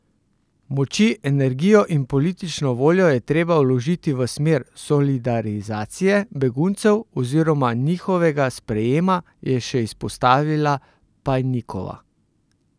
Moči, energijo in politično voljo je treba vložiti v smer solidarizacije beguncev oziroma njihovega sprejema, je še izpostavila Pajnikova.